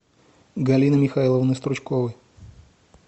галины михайловны стручковой